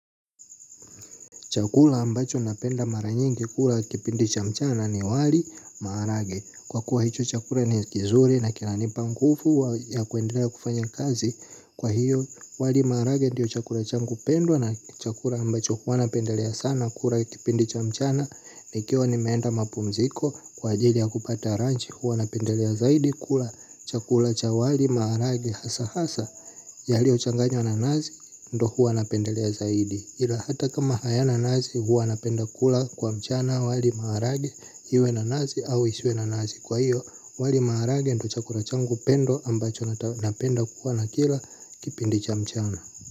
Chakula ambacho napenda maranyingi kula kipindi cha mchana ni wali maharage. Kwa kuwa hicho chakula ni kizuri na kinanipa mguvu ya kuendelea kufanya kazi. Kwa hiyo wali maharage ndiyo chakula changu pendwa na chakula ambacho hua napendelea sana kula kipindi cha mchana. Nikiwa nimeenda mapumziko kwa ajili ya kupata ranchi hua napendelea zaidi kula chakula cha wali maharage hasa hasa. Yaliochanganywa na nazi ndo hua napendelea zaidi. Hila hata kama hayana nazi huwa napenda kula kwa mchana wali maharage. Iwe na nazi au isiwe nanazi kwa hiyo wali maharage ndo chakura changu pendo ambacho napenda kuwa na kila kipindi cha mchana.